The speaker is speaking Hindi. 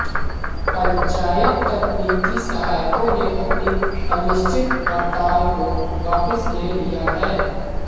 पंचायत तकनीकी सहायकों ने अपनी अनिश्चित हड़ताल को वापस ले लिया है